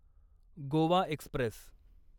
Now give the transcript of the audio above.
Goa Express